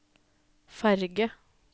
ferge